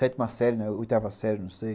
Sétima série, né, oitava série, não sei.